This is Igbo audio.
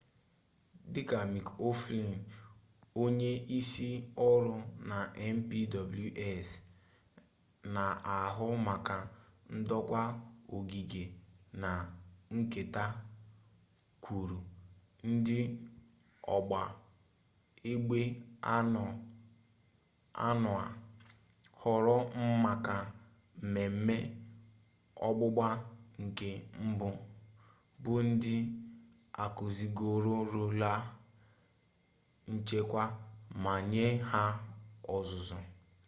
dị ka mik o'flynn onye isi ọrụ na npws na-ahụ maka ndokwa ogige na nketa kwuru ndị ọgba egbe anọ a họọrọ maka mmemme ọgbụgba nke mbụ bụ ndị akuzigorola nchekwa ma nye ha ọzụzụ